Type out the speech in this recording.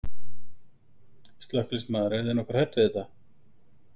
Slökkviliðsmaður: Eruð þið nokkuð hrædd við þetta?